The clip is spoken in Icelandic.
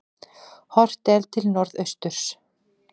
Horft er til norðausturs.